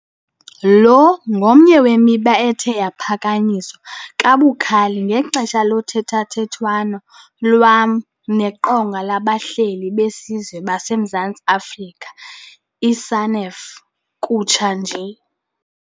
Lo ngomnye wemiba ethe yaphakanyiswa kabukhali ngexesha lothethathethwano lwam neQonga labaHleli beSizwe baseMzantsi Afrika, i-SANEF, kutsha nje.